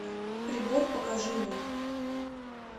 прибор покажи мне